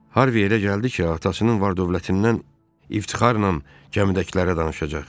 Harvi elə gəldi ki, atasının var-dövlətindən iftixarla cəmidəkilərə danışacaq.